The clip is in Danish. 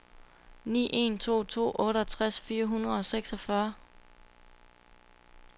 ni en to to otteogtres fire hundrede og seksogfyrre